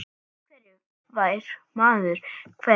Af hverju fær maður kvef?